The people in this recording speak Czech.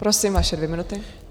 Prosím, vaše dvě minuty.